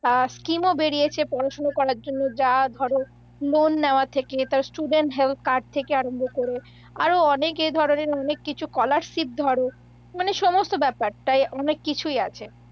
স্কিমও বেড়িয়েছে পড়াশুনো করার জন্য যা ধরো লোণ নেওয়া থেকে, তারপর স্টুডেন্ট হেলথ কার্ড থেকে আরম্ভ করে আরও অনেক এ ধরণের অনেক কিছু, স্কলারশিপ ধরো মানে সমস্ত ব্যাপার তাই অনেককিছুই আছে।